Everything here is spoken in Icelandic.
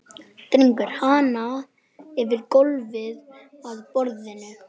Dregur hana yfir gólfið að borðinu.